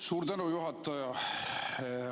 Suur tänu, juhataja!